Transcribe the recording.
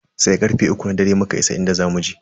Sai karfe uku na dare muka isa inda zamu je.